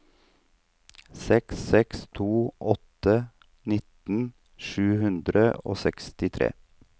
seks seks to åtte nitten sju hundre og sekstitre